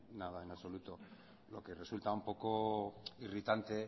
nada en absoluto lo que resulta un poco irritante